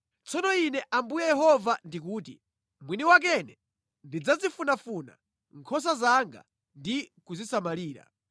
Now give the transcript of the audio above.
“ ‘Tsono Ine Ambuye Yehova ndikuti, mwini wakene ndidzazifunafuna nkhosa zanga ndi kuzisamalira.